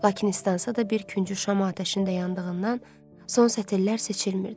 Lakin islansa da bir küncü şama atəşində yandığından, son sətirlər seçilmirdi.